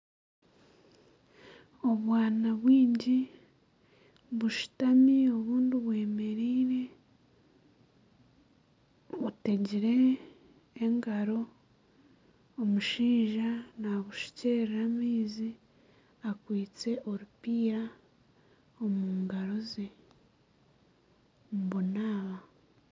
Obwana bwingi bushutami obundi bwemereire butegire engaro. Omushaija naabushukyerera amaizi akwaitse orupiira omu ngaaro ze. Nibunaaba.